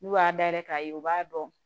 N'u y'a dayɛlɛ k'a ye u b'a dɔn